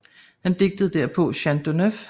Han digtede derpå Chant du 9